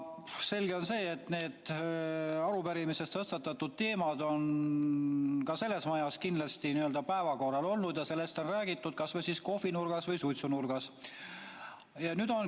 Selge on see, et arupärimises tõstatatud teemad on ka selles majas kindlasti päevakorral olnud ja sellest on räägitud, kas või kohvinurgas või suitsunurgas.